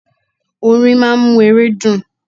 Orin máa ń mú ere dùn.